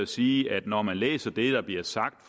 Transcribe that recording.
sige at når man læser det der bliver sagt